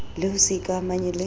le ho se ikamahanye le